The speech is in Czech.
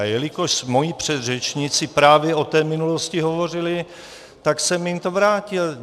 A jelikož moji předřečníci právě o té minulosti hovořili, tak jsem jim to vrátil.